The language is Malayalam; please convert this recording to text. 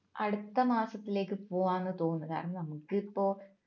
അടുത്ത മാസത്തിലേക്ക് പോവാൻ തോന്നുന്നു കാരണം നമുക്കിപ്പോ